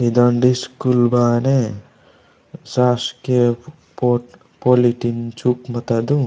ईद ओंडय स्कूल बाने शासकीय पॉट पॉलिटिंग चूकमा तादू।